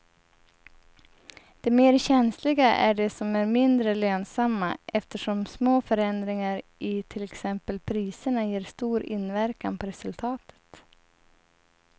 De mer känsliga är de som är mindre lönsamma eftersom små förändringar i till exempel priserna ger stor inverkan på resultatet.